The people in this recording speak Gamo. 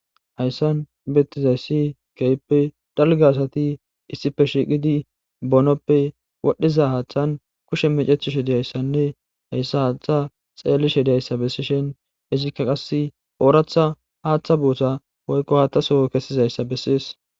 hayssan betizayssi keippe dalgaasati issife shiiqidi bonoppe wodhdhiza haaththan kushe mecethishe diyayssanne hayssa haatha xeellishe diyayssa bessishen izikka qase ooratha haaththa buotha woykko haattasoo kessizayssa bessees